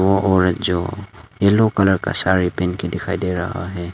और औरत जो येलो कलर का साड़ी पहन के दिखाई दे रहा है।